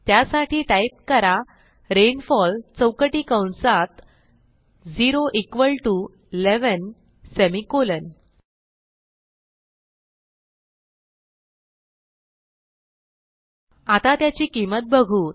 त्यासाठी टाईप करा रेनफॉल चौकटी कंसात 0 इक्वॉल टीओ 11सेमिकोलॉन आता त्याची किंमत बघू